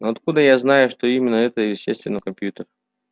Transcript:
но откуда я знаю что именно это и есть компьютер